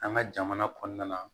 An ka jamana kɔnɔna na